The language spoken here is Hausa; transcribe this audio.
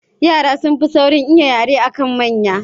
Yara sun fi saurin iya yara akan manya